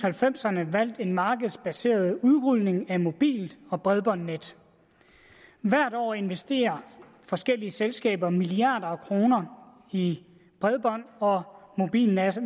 halvfemserne valgt en markedsbaseret udrulning af mobil og bredbåndsnet hvert år investerer forskellige selskaber milliarder af kroner i bredbånd og mobilmaster